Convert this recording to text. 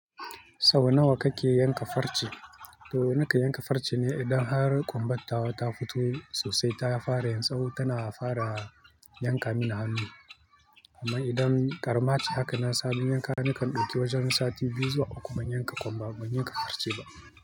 Sau nawa ka ke yanka farce? To nakan yanka farce ne idan har ƙunbar tawa ta fito sosai ta fara yin tsawo tana fara yanka min hannu. Amma idan ƙarama ce haka na sami yanka nakan ɗauki wajen sati biyu zuwa uku ban yanka ƙunba ba ban yanka farce ba.